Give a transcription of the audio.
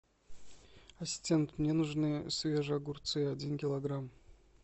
ассистент мне нужны свежие огурцы один килограмм